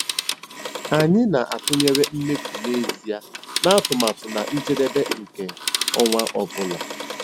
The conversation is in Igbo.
Anyị na-atụnyere mmefu n'ezie na atụmatụ na njedebe nke ọnwa ọ bụla.